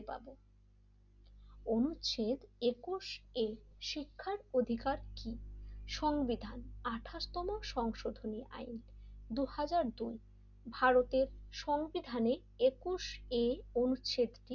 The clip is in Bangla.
অনুচ্ছেদ একুশে শিক্ষার অধিকার কি সংবিধান আটাশ তম সংশোধনের আইআতা দুই হাজার দুই ভারতের সংবিধানে একুশে অনুচ্ছেদ টি,